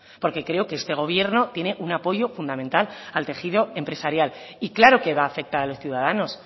porque creo que este gobierno tiene un apoyo fundamental al tejido empresarial y claro que va a afectar a los ciudadanos